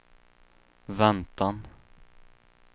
väntan